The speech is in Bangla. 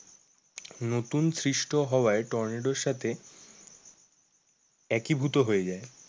নতুন সৃষ্ট হওয়ায় টর্নেডো সাথে একীভূত হয়ে যায়।